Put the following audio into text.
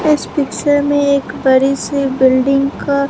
इस पिक्चर में एक बड़ी सी बिल्डिंग का--